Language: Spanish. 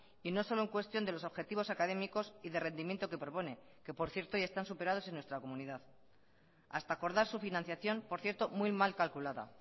y no solo en cuestión de los objetivos académicos y de rendimiento que propone que por cierto ya están superados en nuestra comunidad hasta acordar su financiación por cierto muy mal calculada